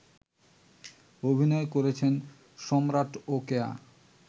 অভিনয় করেছেন সম্রাট ও কেয়া